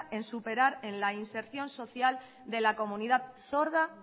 en superar en la inserción social de la comunidad sorda